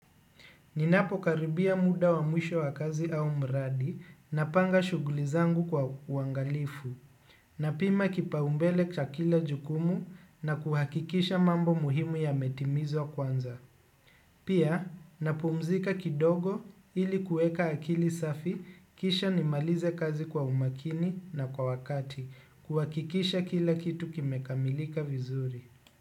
Ninapo karibia muda wa mwisho wa kazi au mradi na panga shughuli zangu kwa uwangalifu. Napima kipaumbele ya kila jukumu na kuhakikisha mambo muhimu yametimizwa kwanza. Pia napumzika kidogo ili kuweka akili safi kisha nimalize kazi kwa umakini na kwa wakati. Kuhakikisha kila kitu kime kamilika vizuri.